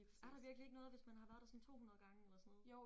Er der virkelig ikke noget hvis man har været der sådan 200 gange eller sådan noget?